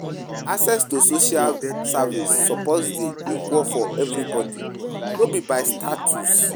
Access to social service suppose dey equal for everybody, no be by status.